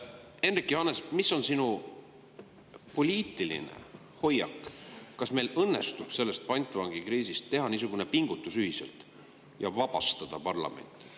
Hendrik Johannes, mis on sinu poliitiline hoiak, kas meil õnnestub teha niisugune pingutus ühiselt, et vabastada parlament sellest pantvangikriisist?